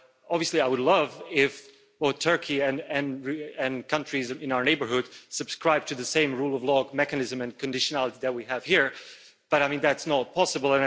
Obviously, I would love it if Turkey and countries in our neighbourhood subscribed to the same rule of law mechanism and conditionality that we have here, but that's not possible.